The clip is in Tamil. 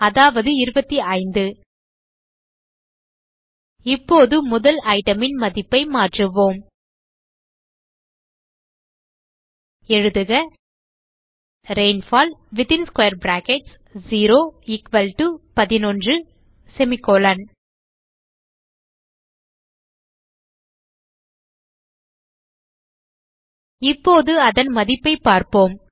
அதாவது 25 இப்போது முதல் item ன் மதிப்பை மாற்றுவோம் எழுதுக ரெயின்ஃபால் 0 11 இப்போது அதன் மதிப்பை பார்ப்போம்